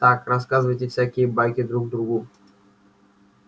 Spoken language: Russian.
так рассказываете всякие байки друг другу